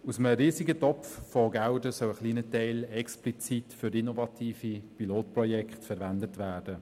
Aus einem riesigen Topf soll ein kleiner Teil explizit für innovative Pilotprojekte verwendet werden.